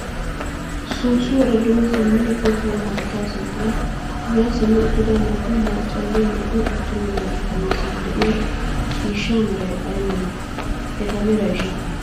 Soossuwaara duge simmidi goggiya haattaa sinttan yaa simmi uttida naa"u maccanne naa"u attuma naatu guyyessan diya ciishshaa meray ay malee? Eta merayishin?